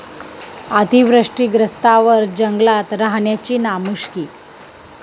अतिवृष्टीग्रस्तांवर जंगलात राहण्याची नामुष्की!